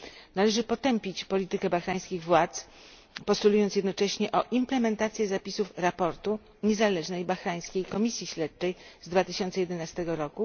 Należy potępić politykę bahrajńskich władz, postulując jednocześnie o implementację zapisów raportu Niezależnej Bahrajńskiej Komisji Śledczej z 2011 r.,